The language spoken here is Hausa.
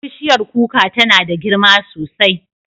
Bishiyar kuka tana da girma sosai.